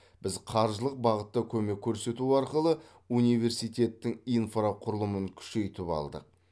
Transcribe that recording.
біз қаржылық бағытта көмек көрсету арқылы университеттің инфрақұрылымын күшейтіп алдық